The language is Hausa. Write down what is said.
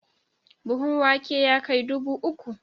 Buhun wake ya kai dubu uku?